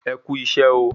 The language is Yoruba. E Kú isẹ́ ooo